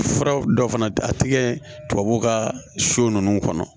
Furaw dɔ fana a tigɛ tubabu ka so nunnu kɔnɔ